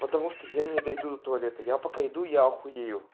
потому что я не дойду до туалета я пока иду я ахуею